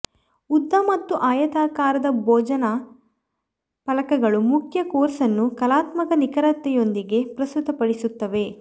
ಉದ್ದ ಮತ್ತು ಆಯತಾಕಾರದ ಭೋಜನ ಫಲಕಗಳು ಮುಖ್ಯ ಕೋರ್ಸ್ ಅನ್ನು ಕಲಾತ್ಮಕ ನಿಖರತೆಯೊಂದಿಗೆ ಪ್ರಸ್ತುತಪಡಿಸುತ್ತವೆ